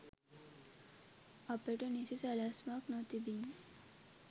අපට නිසි සැලැස්මක් නොතිබිණි